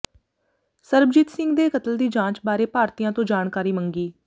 ਸਰਬਜੀਤ ਸਿੰਘ ਦੇ ਕਤਲ ਦੀ ਜਾਂਚ ਬਾਰੇ ਭਾਰਤੀਆਂ ਤੋਂ ਜਾਣਕਾਰੀ ਮੰਗੀ